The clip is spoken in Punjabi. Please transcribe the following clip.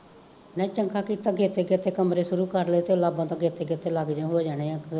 ਨਈ ਚੰਗਾ ਕੀਤਾ ਗੇਤੇ ਗੇਤੇ ਕਮਰੇ ਸ਼ੁਰੂ ਕਰਲੇ ਤੇ ਲਾਂਬਾ ਤੋਂ ਗੇਤੇ ਗੇਤੇ ਲੱਗਜਾਂ ਹੋ ਜਾਣਿਆ ਪੂਰੇ